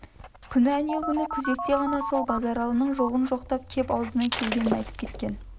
күні әнеугүні күзекте ғана сол базаралының жоғын жоқтап кеп аузына келгенін айтып кеткен